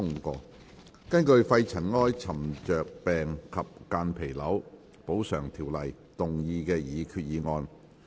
根據《肺塵埃沉着病及間皮瘤條例》動議的擬議決議案。